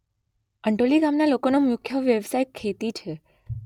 અંટોલી ગામના લોકોનો મુખ્ય વ્યવસાય ખેતી છે